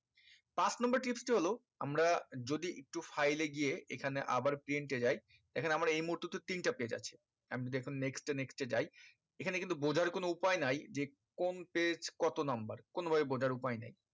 পাঁচ number tips টি হলো আমরা যদি একটু file এ গিয়ে এখানে আবার print এ যাই এখানে আমরা এই মুহূর্তে তে তো তিনটা page আছে আমি দেখুন next এ next এ যায় এখানে কিন্তু বোঝার কোনো উপায় নাই যে কোন page কত number কোনো ভাবে বোঝার উপায় নাই